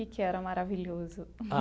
Que que era maravilhoso?